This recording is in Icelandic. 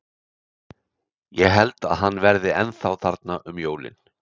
Ég held að hann verði ennþá þarna um jólin.